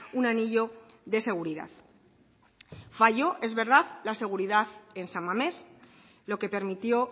un anillo de seguridad fallo es verdad la seguridad en san mames lo que permitió